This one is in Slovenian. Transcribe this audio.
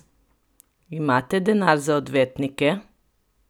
Imate denar za odvetnike?